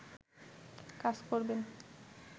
কাজ করবেন